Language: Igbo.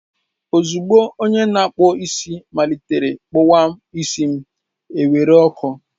Ozugbo onye na-akpụ isi malitere kpụwa isi m, e were ọkụ.